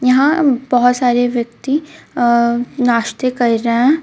यहां बहुत सारे व्यक्ति अ नास्ते कर रहे हैं.